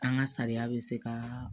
An ka sariya bɛ se ka